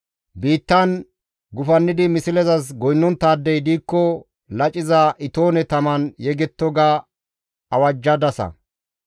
Biittan gufannidi mislezas goynnonttaadey diikko laciza itoone taman yegetto› ga awajjadasa.